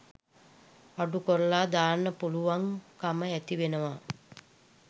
අඩුකරලා දාන්න පුළුවන්කම ඇතිවෙනවා.